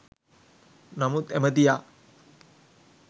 නමුත් ඇමතියා